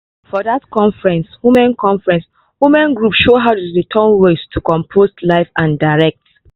for that conference women conference women group show how dem dey turn waste to compost live and direct!